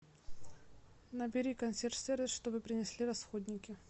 набери консьерж сервис чтобы принесли расходники